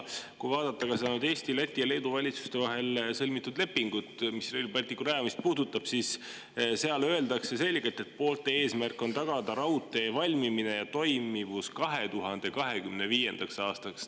Kui vaadata ka seda Eesti, Läti ja Leedu valitsuse vahel sõlmitud lepingut, mis Rail Balticu rajamist puudutab, siis seal öeldakse selgelt, et poolte eesmärk on tagada raudtee valmimine ja toimivus 2025. aastaks.